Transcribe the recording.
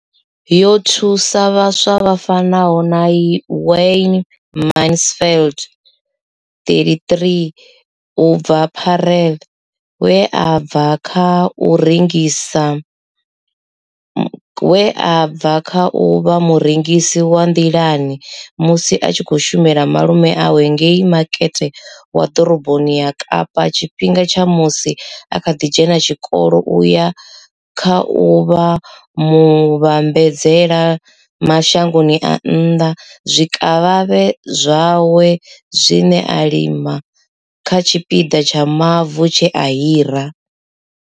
Yo thusa vhaswa vha fanaho na Wayne Mansfield, 33, u bva Paarl, we a bva kha u vha murengisi wa nḓilani musi a tshi khou shumela malume awe ngei makete wa ḓoroboni ya Kapa tshifhingani tsha musi a kha ḓi dzhena tshikolo u ya kha u vha muvhambadzela mashango a nnḓa zwikavhavhe zwawe zwine a zwi lima kha tshipiḓa tsha mavu tshe a hira.